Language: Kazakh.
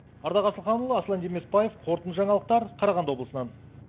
ардақ асылханұлы аслан демесбаев қорытынды жаңалықтар қарағанды облысынан